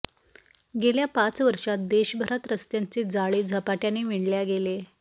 गेल्या पाच वर्षात देशभरात रस्त्यांचे जाळे झपाट्याने विणल्या गेले